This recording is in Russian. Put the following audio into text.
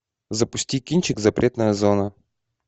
запусти кинчик запретная зона